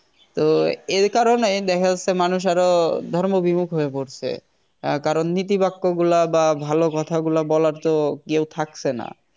তো এর কারণেই দেখা যাচ্ছে মানুষ আরো ধর্ম বিমুখ হয়ে পড়ছে কারণ নীতি বাক্যগুলা বা ভালো কথাগুলা বলার তো কেউ থাকছে না